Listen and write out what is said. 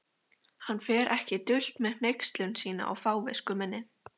Hann fer ekki dult með hneykslun sína á fávisku minni.